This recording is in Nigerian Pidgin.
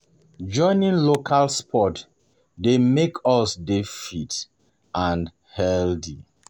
Joining local sport dey make us dey fit and healthy